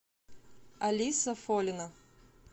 алиса фолина